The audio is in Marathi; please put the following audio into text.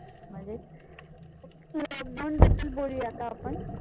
मजेत. तर lockdown बद्दल बोलूया का आपण?